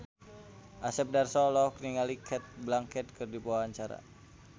Asep Darso olohok ningali Cate Blanchett keur diwawancara